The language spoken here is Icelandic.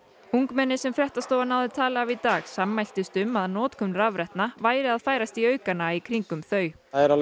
ungmenni sem fréttastofa náði tali af í dag sammæltust um að notkun rafrettna væri að færast í aukana í kringum þau